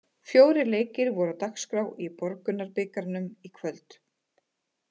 Fjórir leikir voru á dagskrá í Borgunarbikarnum í kvöld.